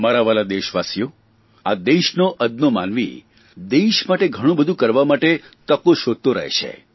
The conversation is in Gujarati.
મારા વ્હાલા દેશવાસીઓ આ દેશનો અદનો માનવી દેશ માટે ઘણું બધું કરવા માટે તકો શોધતો રહે છે